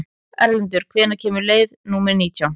Erlendur, hvenær kemur leið númer nítján?